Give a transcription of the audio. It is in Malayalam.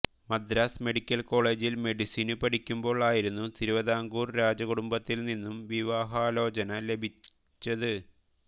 മദ്രാസ് മെഡിക്കൽ കോളേജിൽ മെഡിസിനു പഠിക്കുമ്പോൾ ആയിരുന്നു തിരുവിതാംകൂർ രാജകുടുംബത്തിൽ നിന്നും വിവാഹാലോചന ലഭിച്ചത്